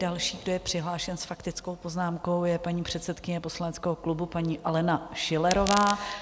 Další, kdo je přihlášen s faktickou poznámkou, je paní předsedkyně poslaneckého klubu paní Alena Schillerová.